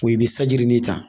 O ye i bɛ sanji nin ta